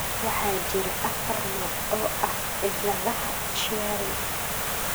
Waxaa jira afar nooc oo ah cilladaha Chiari.